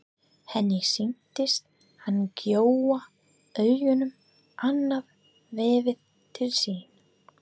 Henni sýnist hann gjóa augunum annað veifið til sín.